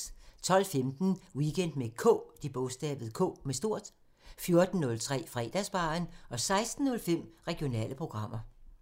12:15: Weekend med K 14:03: Fredagsbaren 16:05: Regionale programmer